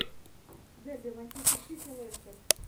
дерби манчестер сити лестер